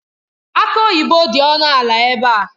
Aki oyibo dị ọnụ ala ebe a.